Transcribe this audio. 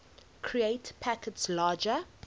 create packets larger